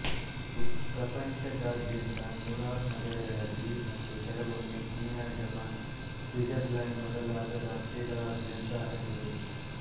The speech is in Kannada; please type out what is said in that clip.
ಇದು ಪ್ರಪಂಚದಾದ್ಯಂತ ನೂರಾರು ನಗರಗಳಲ್ಲಿ ಮತ್ತು ಕೆಲವೊಮ್ಮೆ ಚೀನಾ ಜಪಾನ್ ಸ್ವಿಟ್ಜರ್ಲ್ಯಾಂಡ್ ಮೊದಲಾದ ರಾಷ್ಟ್ರಗಳಾದ್ಯಂತ ಹರಡಿದೆ